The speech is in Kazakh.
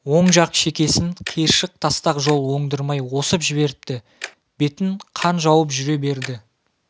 оң жақ шекесін киыршық тастақ жол оңдырмай осып жіберіпті бетін қан жауып жүре берді